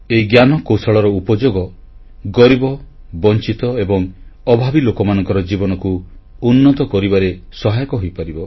ଏହି ଜ୍ଞାନକୌଶଳର ଉପଯୋଗ ଗରିବ ବଂଚିତ ଏବଂ ଅଭାବୀ ଲୋକମାନଙ୍କ ଜୀବନକୁ ଉନ୍ନତ କରିବାରେ ସହାୟକ ହୋଇପାରିବ